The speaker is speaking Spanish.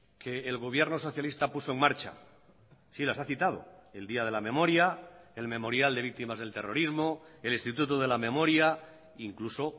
que el gobierno socialista puso en marcha sí las ha citado el día de la memoria el memorial de víctimas del terrorismo el instituto de la memoria incluso